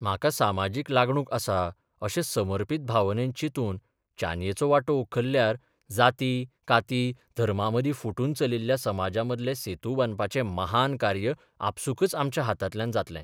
म्हाका सामाजीक लागणूक आसा अशे समर्पित भावनेन चिंतून चानयेचो वांटो उखल्ल्यार जाती काती धर्मामदीं फुटून चलिल्ल्या समाजामदले सेतू बांदपाचें महान कार्य आपसूकच आमच्या हातांतल्यान जातलें.